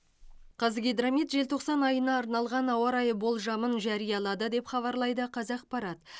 қазгидромет желтоқсан айына арналған ауа райы болжамын жариялады деп хабарлайды қазақпарат